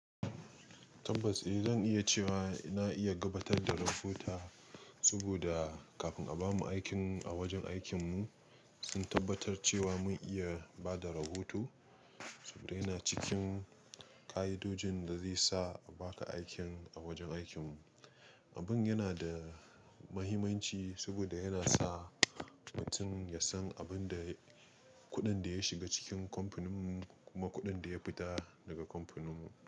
Tabbas eh zan iya cewa na iya gabatar da rahota saboda kafin a bamu aikin a wajen aikin mu sun tabbatar cewa mun iya bada rahoto. Saboda yana cikin ka'idojin da zai sa a baka aikin a wajen aikin mu. Abun yana da mahimmanci saboda yana sa mutum ya san abin da kuɗin da ya shiga cikin kamfanin mu kuma kuɗin da ya fita daga kamfanin mu.